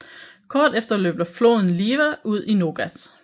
Kort efter løber flodn Liwa ud i Nogat